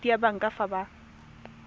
khoutu ya banka fa ba